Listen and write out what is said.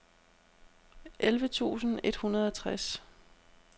elleve tusind et hundrede og tres